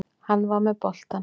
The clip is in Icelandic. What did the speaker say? Hann var með boltann.